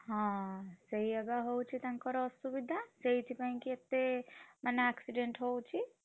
ହଁ ସେଇଆ ବା ହଉଛି ତାଙ୍କର ଅସୁବିଧା, ସେଇଥିପାଇଁ କି ଏତେ, ମାନେ accident ହଉଚି।